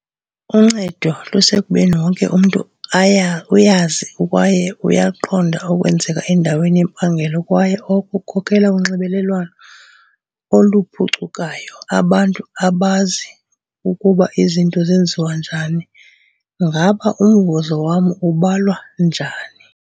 Uncedo lusekubeni wonke umntu uyazi kwaye uyakuqonda okwenzeka endaweni yempangelo kwaye oko kukhokelela kunxibelelwano oluphucukayo - abantu abazi ukuba izinto zenziwa njani - "Ngaba umvuzo wam ubalwa njani?"